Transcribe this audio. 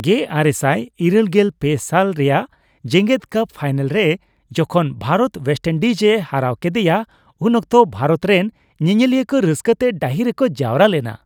1983 ᱥᱟᱞ ᱨᱮᱭᱟᱜ ᱡᱮᱜᱮᱫ ᱠᱟᱯ ᱯᱷᱟᱭᱱᱮᱞ ᱨᱮ ᱡᱚᱠᱷᱚᱱ ᱵᱷᱟᱨᱚᱛ ᱵᱮᱥᱴᱤᱱᱰᱤᱡ ᱮ ᱦᱟᱨᱟᱹᱣ ᱠᱮᱫᱮᱭᱟ ᱩᱱ ᱚᱠᱛᱚ ᱵᱷᱟᱨᱚᱛ ᱨᱮᱱ ᱧᱮᱧᱮᱞᱤᱭᱟᱹ ᱠᱚ ᱨᱟᱹᱥᱠᱟᱹᱛᱮ ᱰᱟᱹᱦᱤ ᱨᱮᱠᱚ ᱡᱟᱣᱨᱟ ᱞᱮᱱᱟ ᱾